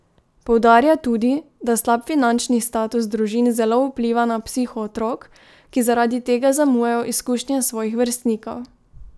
Poudarja tudi, da slab finančni status družin zelo vpliva na psiho otrok, ki zaradi tega zamujajo izkušnje svojih vrstnikov.